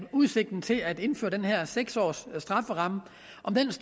udsigten til at indføre den her seks års strafferamme